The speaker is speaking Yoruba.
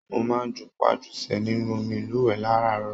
Mo máa n jupajusẹ̀ nínú omí ilúwẹ láràárọ̀.